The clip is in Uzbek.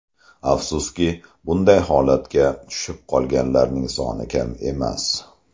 Afsuski, bunday holatga tushib qolganlarning soni kam emas.